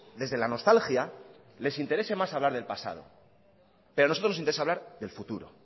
desde la nostalgia les interese más hablar del pasado pero a nosotros nos interesa más hablar del futuro